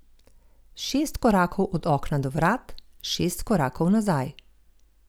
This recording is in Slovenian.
Šest korakov od okna do vrat, šest korakov nazaj.